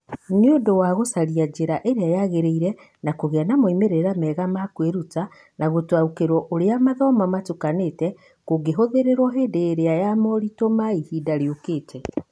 Nĩ ũndũ wa gũcaria njĩra ĩrĩa yagĩrĩire ya kũgĩa na moimĩrira mega ma kwĩruta na gũtaũkĩrũo ũrĩa gũthoma gũtukanĩte kũngĩhũthĩrũo hĩndĩ ya moritũ ma ihinda rĩũkĩte.